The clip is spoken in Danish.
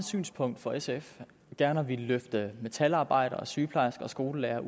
synspunkt for sf gerne at ville fritage metalarbejdere sygeplejersker og skolelærere